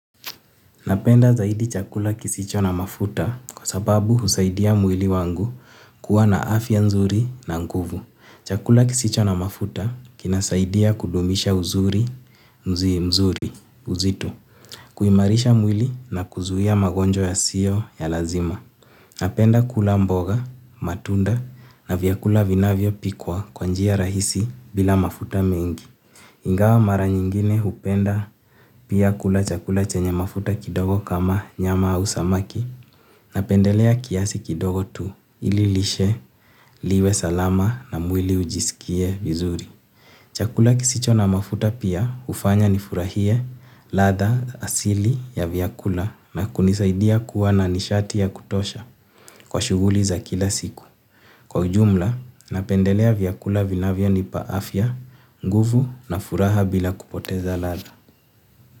Napenda zaidi chakula kisicho na mafuta kwa sababu husaidia mwili wangu kuwa na afya nzuri na nguvu. Chakula kisicho na mafuta kinasaidia kudumisha uzuri, mzi mzuri, uzito, kuimarisha mwili na kuzuia magonjwa yasio ya lazima. Napenda kula mboga, matunda na vyakula vinavyopikwa kwa njia rahisi bila mafuta mengi. Ingawa mara nyingine hupenda pia kula chakula chenye mafuta kidogo kama nyama au samaki napendelea kiasi kidogo tu ili lishe liwe salama na mwili ujisikie vizuri. Chakula kisicho na mafuta pia hufanya nifurahie ladha asili ya vyakula na kunisaidia kuwa na nishati ya kutosha kwa shuguli za kila siku. Kwa ujumla, napendelea vyakula vinavyonipa afya, nguvu na furaha bila kupoteza ladha.